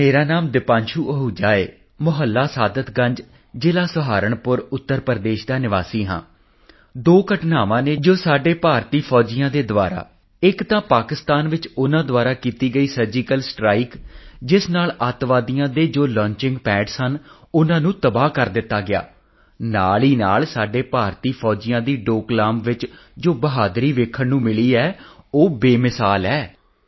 ਮੇਰਾ ਨਾਂ ਦਿਪਾਂਸ਼ੂ ਅਹੂਜਾ ਹੈ ਮੁਹੱਲਾ ਸਾਦਤਗੰਜ ਜ਼ਿਲ੍ਹਾ ਸਹਾਰਨਪੁਰ ਉੱਤਰ ਪ੍ਰਦੇਸ਼ ਦਾ ਰਹਿਣ ਵਾਲਾ ਹਾਂ ਦੋ ਘਟਨਾਵਾਂ ਹਨ ਜੋ ਸਾਡੇ ਭਾਰਤੀ ਸੈਨਿਕਾਂ ਦੁਆਰਾ ਇੱਕ ਤਾਂ ਪਾਕਿਸਤਾਨ ਚ ਉਨ੍ਹਾਂ ਦੁਆਰਾ ਕੀਤੀ ਗਈ ਸਰਜੀਕਲ ਸਟ੍ਰਾਈਕ ਜਿਸ ਨਾਲ ਅੱਤਵਾਦ ਆਤੰਕਵਾਦ ਦੇ ਲਾਂਚਿੰਗ ਪੈਡ ਸਨ ਉਨ੍ਹਾਂ ਨੂੰ ਤਬਾਹ ਕਰ ਦਿੱਤਾ ਗਿਆ ਅਤੇ ਨਾਲ ਹੀ ਸਾਡੇ ਸੈਨਿਕਾਂ ਦੀ ਡੋਕਲਾਮ ਚ ਜੋ ਬਹਾਦਰੀ ਦੇਖਣ ਨੂੰ ਮਿਲੀ ਉਹ ਬੇਮਿਸਾਲ ਹੈ